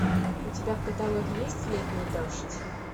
у тебя в каталоге есть летний дождь